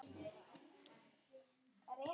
Hún mundi eftir þessu kvöldi.